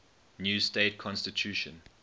new state constitution